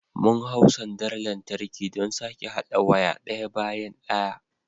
Mun hau sandar lantarki don sake haɗa waya ɗaya bayan ɗaya.